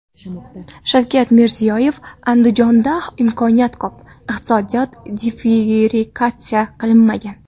Shavkat Mirziyoyev: Andijonda imkoniyat ko‘p, iqtisodiyot diversifikatsiya qilinmagan.